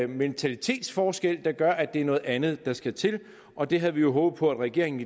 mentalitetsforskel der gør at det er noget andet der skal til og det havde vi håbet på regeringen